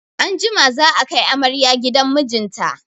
Anjima za a kai amarya gidan mijinta.